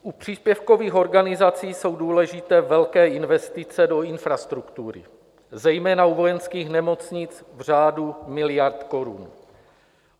U příspěvkových organizací jsou důležité velké investice do infrastruktury, zejména u vojenských nemocnic v řádu miliard korun.